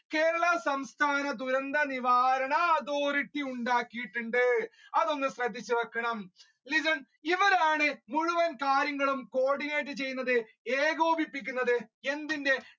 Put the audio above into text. കേരള സംസ്ഥാന ദുരന്ത നിവാരണ അതോറിറ്റി ഉണ്ടാക്കിയിട്ടുണ്ട് അതൊന്ന് ശ്രദ്ധിച്ചു വെക്കണം മുഴുവൻ കാര്യങ്ങളും ചെയ്യുന്നത് ഏകോപിക്കുന്നത് എന്തിന്റെ